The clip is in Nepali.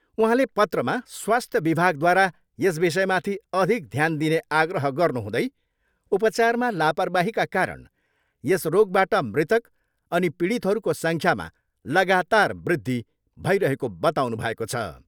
उहाँले पत्रमा स्वास्थ्य विभागद्वारा यस विषयमाथि अधिक ध्यान दिने आग्रह गर्नुहुँदै उपचारमा लापरबाहीका कारण यस रोगबाट मृतक अनि पीडितहरूको सङ्ख्यामा लागातार वृद्धि भइरहेको बताउनुभएको छ।